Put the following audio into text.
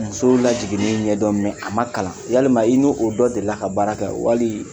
Musow lajiginin ɲɛdɔ mɛ a ma kalan walima i n'o dɔ delila ka baara kɛ wali